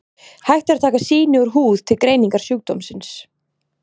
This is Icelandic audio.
Hægt er að taka sýni úr húð til greiningar sjúkdómsins.